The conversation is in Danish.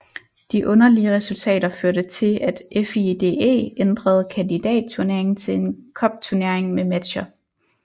De underlige resultater førte til at FIDE ændrede kandidatturnering til en cupturnering med matcher